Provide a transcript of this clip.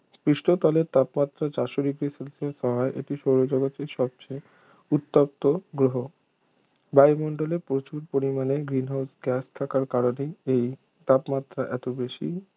পৃষ্ঠতলের তাপমাত্রা চারশো degree সেলসিয়াস হওয়ায় এটি সৌরজগতের সবচেয়ে উত্তপ্ত গ্রহ বায়ুমণ্ডলে প্রচুর পরিমাণে green house গ্যাস থাকার কারণেই এর তাপমাত্রা এতো বেশি